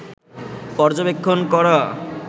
পর্যবেক্ষণ করা